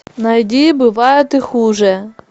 найди бывает и хуже